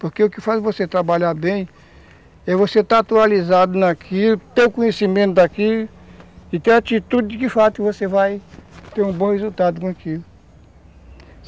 Porque o que faz você trabalhar bem é você estar atualizado naquilo, ter o conhecimento daquilo e ter a atitude de que, de fato, você vai ter um bom resultado com aquilo.